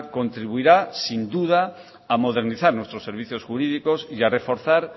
contribuirá sin duda a modernizar nuestros servicios jurídicos y a reforzar